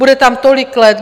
Bude tam tolik let.